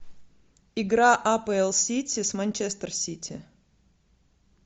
игра апл сити с манчестер сити